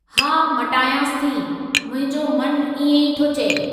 हा मटायांसि थी, मुंहिंजो मन इएं ई थो चए।